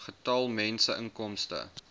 getal mense inkomste